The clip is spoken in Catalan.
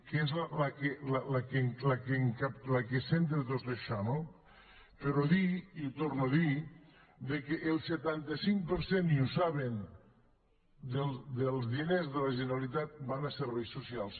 que és la que centra tot això no però dir i ho torno a dir que el setanta cinc per cent i ho saben dels diners de la generalitat van a serveis socials